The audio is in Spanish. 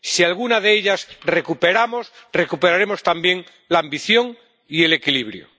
Si alguna de ellas recuperamos, recuperaremos también la ambición y el equilibrio.